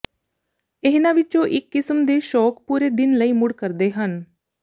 ਇਹਨਾਂ ਵਿੱਚੋਂ ਇੱਕ ਕਿਸਮ ਦੇ ਸ਼ੌਕ ਪੂਰੇ ਦਿਨ ਲਈ ਮੂਡ ਕਰਦੇ ਹਨ